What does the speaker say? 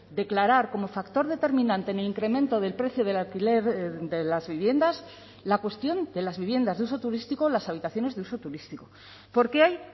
declarar como factor determinante en el incremento del precio del alquiler de las viviendas la cuestión de las viviendas de uso turístico las habitaciones de uso turístico porque hay